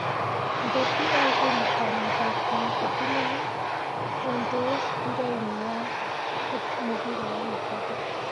Batĩ oĩkaine ta mũthaki ngũthi mũno ũndũireinĩ wa mũbira wa gĩkabu.